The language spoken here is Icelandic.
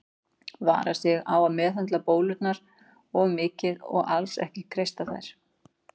Vara sig á að meðhöndla bólurnar of mikið og alls ekki kreista þær.